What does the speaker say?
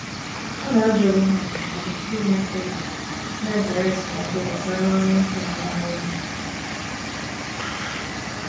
Ha na-ajụ onwe ha ndụmọdụ tupu ime mkpebi, na-ezere esemokwu gbasara ọrụ nwoke na nwanyị omenala.